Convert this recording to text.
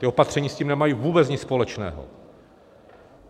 Ta opatření s tím nemají vůbec nic společného.